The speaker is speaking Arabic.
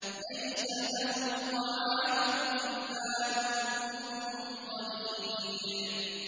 لَّيْسَ لَهُمْ طَعَامٌ إِلَّا مِن ضَرِيعٍ